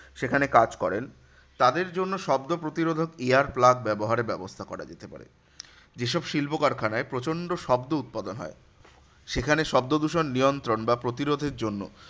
সেখানে কাজ করেন তাদের জন্য শব্দ প্রতিরোধক ear plug ব্যাবহারে ব্যবস্থা করা যেতে পারে। যেসব শিল্প কারখানায় প্রচন্ড শব্দ উৎপাদন হয়, সেখানে শব্দদূষণ নিয়ন্ত্রণ বা প্রতিরোধের জন্য